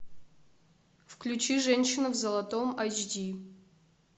включи женщина в золотом эйч ди